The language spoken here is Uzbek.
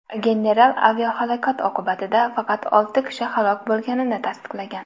General aviahalokat oqibatida faqat olti kishi halok bo‘lganini tasdiqlagan.